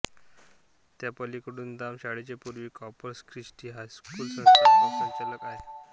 त्या पल्लिकूदाम शाळेच्या पूर्वी कॉर्पस क्रिस्टी हायस्कूल संस्थापक संचालक आहेत